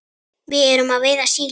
Við erum að veiða síli.